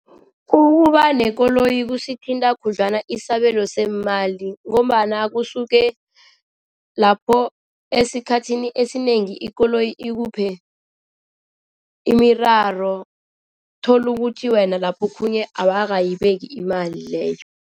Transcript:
Ukuba nekoloyi kusithinta khudlwana isabelo semali ngombana kusuke lapho esikhathini esinengi ikoloyi ikuphe imiraro uthola ukuthi wena lapho khunye awakayibeki imali leyo.